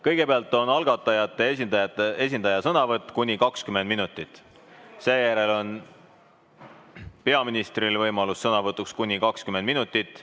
Kõigepealt on algatajate esindaja sõnavõtt kuni 20 minutit, seejärel on peaministril võimalus sõna võtta kuni 20 minutit.